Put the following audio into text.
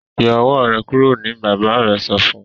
Yọ owó rẹ kúrò ní bàbá rẹ sọfún.